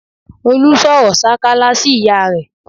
Olú sọ̀rọ̀ sákálá sí ìyá rẹ̀